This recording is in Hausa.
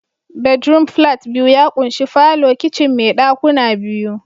Bedroom flat biyu ya ƙunshi falo, kicin mai ɗakuna biyu